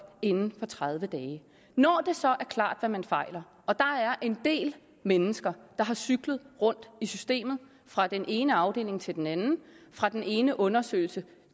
inden for tredive dage når det så er klart hvad man fejler der en del mennesker der har cyklet rundt i systemet fra den ene afdeling til den anden fra den ene undersøgelse